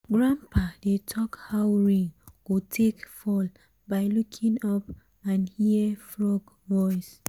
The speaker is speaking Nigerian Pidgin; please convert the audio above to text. grandpa dey talk how rain go take fall by looking up and hear frog voice.